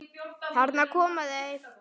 Þarna koma þau!